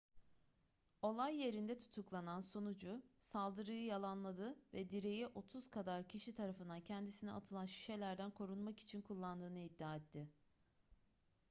olay yerinde tutuklanan sunucu saldırıyı yalanladı ve direği otuz kadar kişi tarafından kendisine atılan şişelerden korunmak için kullandığını iddia etti